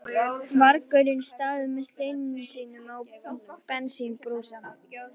vargurinn staðið með steininn sinn og bensínbrúsa.